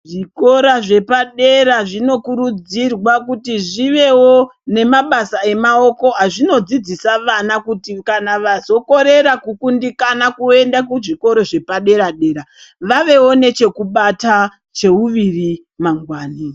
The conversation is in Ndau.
Zvikora zvepadera zvinokurudzirwa kuti zvivewo nemabasa emaoko azvinodzidzisa vana kuti kana vazokorera kukundikana kuenda kuzvikoro zvepadera-dera ,vavewo nechekubata cheuviri mangwani.